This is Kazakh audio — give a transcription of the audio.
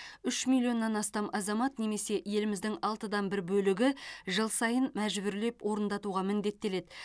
үш миллионнан астам азамат немесе еліміздің алтыдан бір бөлігі жыл сайын мәжбүрлеп орындатуға міндеттеледі